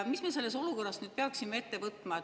Mis me selles olukorras peaksime ette võtma?